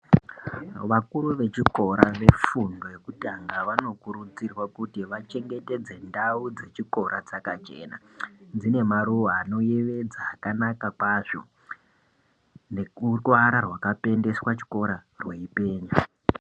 Vakuru vechikora vefundo yekutanga vanokurudzirwa kuti vachengetedze ndau dzechikora dzakachena dzine maruwa anoyevedza akanaka kwazvo neruvara rwakapendeswa chikora rweipenya.